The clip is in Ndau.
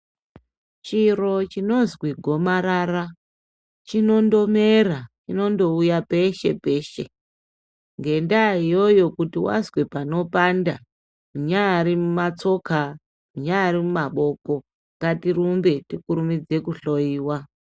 Chiro chinozwi gomarara chinondomera, chinondouya peshe-peshe. Ngendaa iyoyo kuti wazwa panopanda, kunyaari mumatsoka, munyaari mumaboko, ngatirumbe tikurumidze kuhloyiwa.